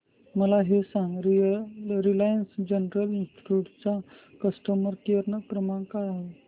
मला हे सांग रिलायन्स जनरल इन्शुरंस चा कस्टमर केअर क्रमांक काय आहे